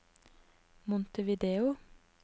Montevideo